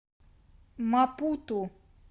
мапуту